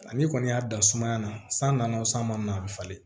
Ani kɔni y'a dan sumaya na san nana wo san ma na a bɛ falen